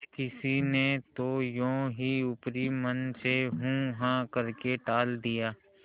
किसी ने तो यों ही ऊपरी मन से हूँहाँ करके टाल दिया